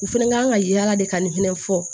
U fɛnɛ kan ka yala de ka nin fɛnɛ fɔ